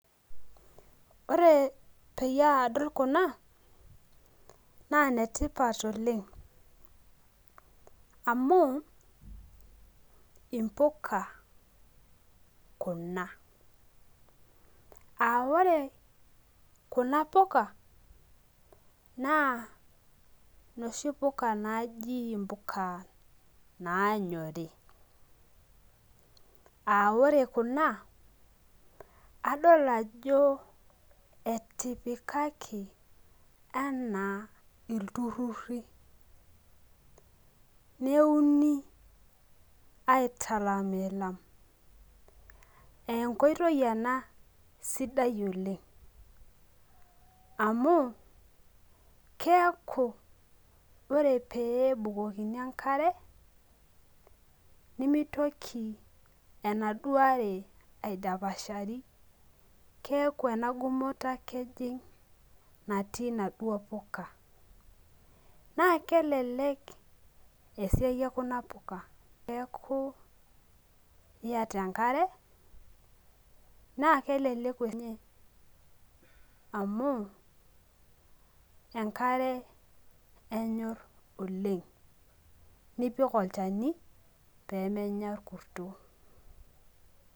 Ore peyie adol kuna naa inetipat oleng. Amuu impuka kuna. Aa ore kuna puka naa inoshi puka naaji impuka naanyori. Aa ore kuna adol ajo etipikako ana iltururi aa enkoitoi ena sudai oleng amuu keaku ore pee ebukoni enkare nemeitoki enaduo are aidapashari keaku enaduo gumoto ejing natii inaduo puka. Naa kelelek esia ekuna kupa teneaku iyata enkare naa keleeku ene amuu enkare enyorr oleng. Nipik olchani pee menya orkurto.